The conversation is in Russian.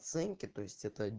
оценки то есть это